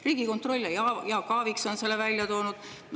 Riigikontroll ja Jaak Aaviksoo on selle välja toonud.